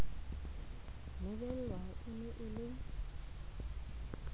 lebelwe e ne e le